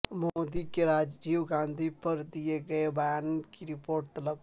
مودی کے راجیوگاندھی پر دیئے گئے بیان کی رپورٹ طلب